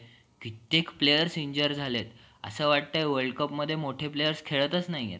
कित्येक player injure झालेय असं वाटतंय world cup मध्ये मोठे players खेळतच नाहीयेत.